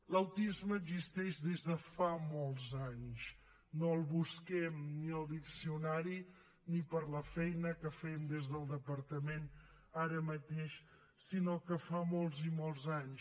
l’autisme existeix des de fa molts anys no el busquem ni al diccionari ni per la feina que fem des del departament ara mateix sinó que fa molts i molts anys